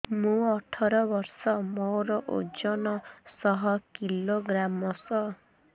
ମୁଁ ଅଠର ବର୍ଷ ମୋର ଓଜନ ଶହ କିଲୋଗ୍ରାମସ